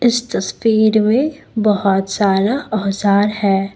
इस तस्वीर में बहुत सारा औजार है।